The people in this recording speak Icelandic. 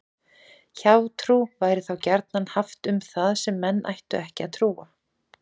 Hjátrú væri þá gjarnan haft um það sem menn ættu ekki að trúa.